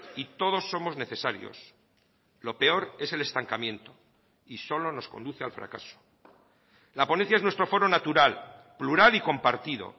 y todos somos necesarios lo peor es el estancamiento y solo nos conduce al fracaso la ponencia es nuestro foro natural plural y compartido